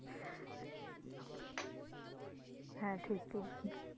হ্যাঁ, ঠিক ই,